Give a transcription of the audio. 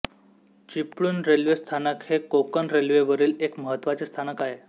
Chiplun railway स्थानक हे कोकण रेल्वेवरील एक महत्त्वाचे स्थानक आहे